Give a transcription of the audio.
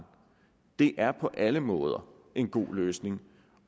det er på alle måder en god løsning